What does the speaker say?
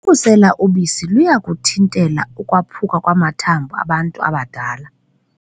Ukusela ubisi luyakuthintela ukwaphuka kwamathambo abantu abadala.